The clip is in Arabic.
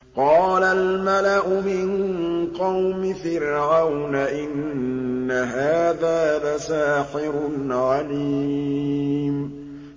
قَالَ الْمَلَأُ مِن قَوْمِ فِرْعَوْنَ إِنَّ هَٰذَا لَسَاحِرٌ عَلِيمٌ